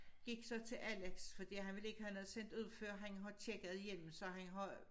Gik så til Alex fordi han vil ikke have noget sendt ud før han har tjekket igennem så han har